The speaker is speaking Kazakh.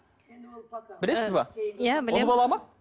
білесіз бе иә ұл бала ма